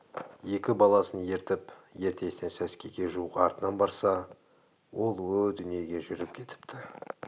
екі баласын ертіп ертесіне сәскеге жуық артынан барса ол о дүниеге жүріп кетіпті